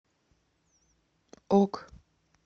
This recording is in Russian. ок